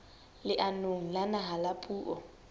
leanong la naha la puo